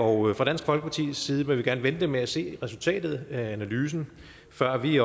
og fra dansk folkepartis side vil vi gerne vente med at se resultatet af analysen før vi